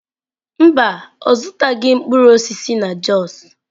Mba, ọ zụtaghị mkpụrụ osisi na jos.